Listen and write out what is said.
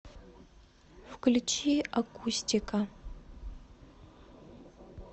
включи акустика